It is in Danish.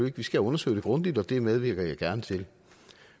ikke vi skal undersøge det grundigt og det medvirker jeg gerne til